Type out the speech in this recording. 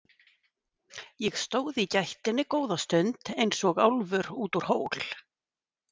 Ég stóð í gættinni góða stund eins og álfur út úr hól.